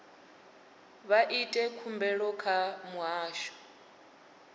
vha ite khumbelo kha muhasho